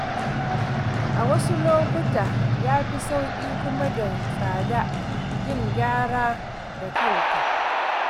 A wasu lokuta, ya fi sauƙi kuma da tsada yin gyara da kanka.